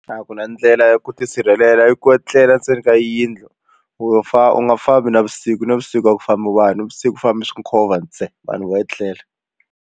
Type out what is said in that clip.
A ku na ndlela ya ku tisirhelela i ku etlela ndzeni ka yindlu wo u nga fambi navusiku navusiku a ku famba vanhu navusiku ku famba swinkhovho ntsena vanhu vo etlela.